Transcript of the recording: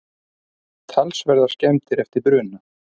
Talsverðar skemmdir eftir bruna